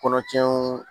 Kɔnɔtiɲɛw